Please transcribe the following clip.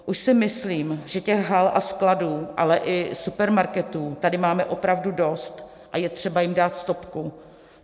Už si myslím, že těch hal a skladů, ale i supermarketů tady máme opravdu dost a je třeba jim dát stopku.